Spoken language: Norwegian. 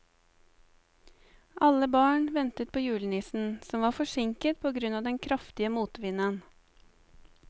Alle barna ventet på julenissen, som var forsinket på grunn av den kraftige motvinden.